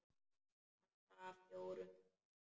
Handa fjórum til fimm